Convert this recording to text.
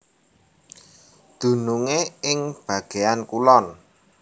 Dunungé ing bagéan kulon